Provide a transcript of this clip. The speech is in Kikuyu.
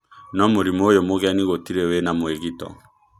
No-mũrimũ ũyũ mũgeni gũtirĩ wĩna mwĩgito.